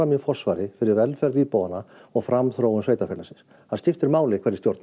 í forsvari fyrir velferð íbúanna og framþróun sveitarfélagsins það skiptir máli hverjir stjórna